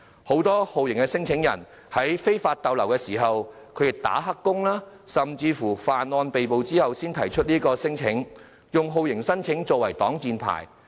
很多酷刑聲請人是在非法逗留、"打黑工"或犯案被捕後才提出聲請，以酷刑聲請作擋箭牌。